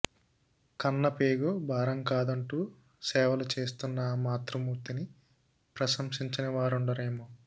కన్న పేగు భారం కాదంటూ సేవలు చేస్తున్న ఆ మాతృమూర్తిని ప్రశంసించనివారుండరేమో